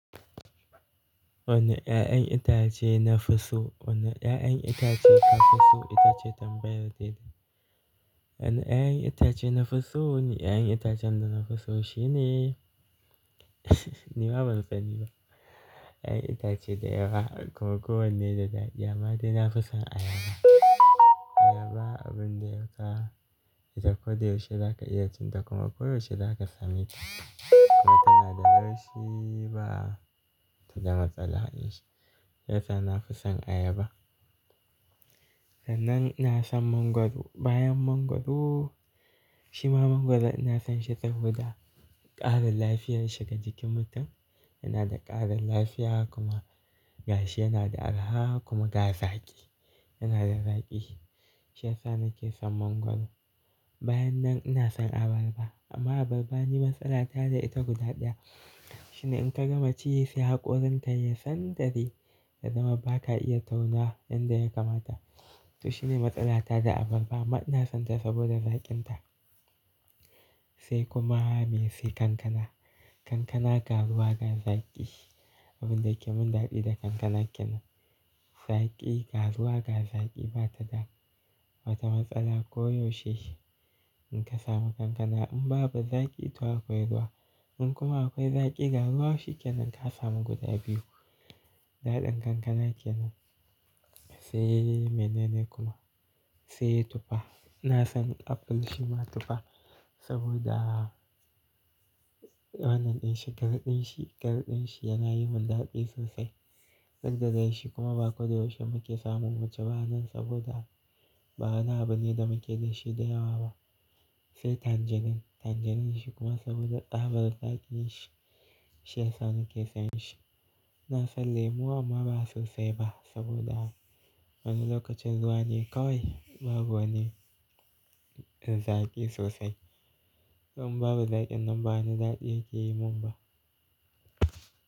Wanne 'ya'yan itace na fi so, ono 'ya'yan itace ka fi so, itace tambayar da ita. Wanne 'ya'yan itace na fi so ne 'ya'yan itacen da na fi so shine ni ma ban san ni ba. 'Ya'yan itace da yawa, kuma wanne da ɗaɗi amma dai na fi son ayaba. Ayaba abun da ya ka, ita ko da yaushe za ka iya cin ta kuma koyaushe za ka same ta kuma tana da laushi ba ta zama matsala. Yasa na fi son ayaba. Sannan ina son mangwaro. Bayan mangwaro, shima mangwaro ina son shi saboda ƙarin lafiyar shi ga jikin mutum. Yana da ƙarin lafiya kuma gashi yana da araha kuma ga zaƙi, yana da zaƙi. Shiyasa nake son mangwaro. Bayan nan ina son abarba. Amma abarba ni matsala ta da ita guda ɗaya. Shine in ka gama ciye shi hakorin ta ya san dari da zama ba ka iya taunuwa yanda ya kamata. To shine matsala ta da abarba amma ina son ta saboda zaƙin ta. Sai kuma mai sai kankana. Kankana ga ruwa ga zaƙi. Abin da yake mun daɗi da kankana kenan. Zaƙi, garzuwa ga zaƙi ba ta dam wata matsala koyaushe. In ka samu kankana in babu zaƙi to akwai ruwa in kuma akwai zaƙi garzuwa shi kenan ka samu guda biyu. Daɗin kankana kenan. Sai menene kuma? Sai tufa. Ina son apples shima tufa saboda wannan ɗin shi, harɗin shi, garɗin shi yana yi mun daɗi sosai. Ɗanɗanon shi kuma ba ko da yaushe muke samu mu ci ba nan saboda ba wani abune da muke da shi da yawa ba. Sai tangerine. Tangerine shi kuma saboda tsabar zaƙi shi shi ya sa nake son shi. Ina son lemu amma ba sosai ba saboda wani lokacin zuwa ne kawai babu wani zaƙi sosai. In babu zaƙin nan babu daɗi yake yi mun ba.